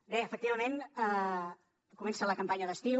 bé efectivament comença la campanya d’estiu